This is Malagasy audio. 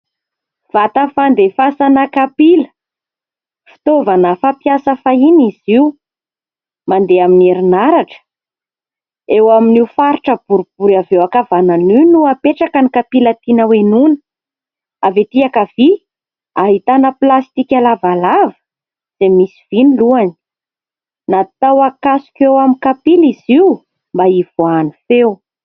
Vata fandefasana kapila. Fitaovana fampiasa fahiny izy io, mandeha amin'ny herinaratra. Eo amin'io faritra boribory avy eo ankavanana io no apetraka ny kapila tiana hohenoina. Avy ety ankavia, ahitana plastika lavalava, dia misy vy ny lohany. Natao hakasoka eo amin'ny kapila izy io mba hivoahan'ny feo.